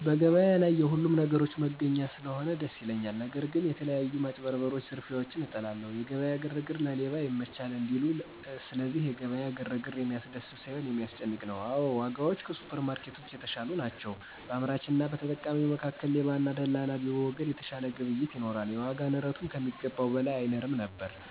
በገበያ ላይ የሁሉንም ነገሮች መገኛ ስለሆነ ደስ ያሰኛል። ነገር ግን የተለያዩ ማጭበርበሮች ዝርፊያዎችን እጠላለሁ። የገበያ ግርግር ለሌባ ይመቻል እንዲሉ፤ ስለዚህ የገበያ ግርግር የሚያስደስት ሳይሆን የሚያስጨንቅ ነው። አዎ ዋጋዎች ከሱፐርማርኬቶች የተሻሉ ናቸው። በአምራችና በተጠቃሚው መካከል ሌባና ደላላ ቢወገድ የተሻለ ግብይት ይኖራል፤ የዋጋ ንረቱም ከሚገባው በላይ አይንርም ነበር።